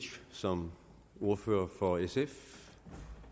som ordfører for sf